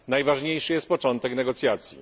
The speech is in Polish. Najważniejszy jest początek negocjacji.